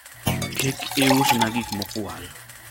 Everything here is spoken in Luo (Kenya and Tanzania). kik iusna gik mokwal